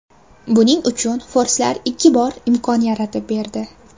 Buning uchun forslar ikki bor imkon yaratib berdi.